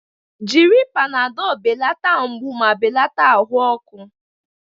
Jiri Panadolu belata mgbu ma belata ahụ ọkụ.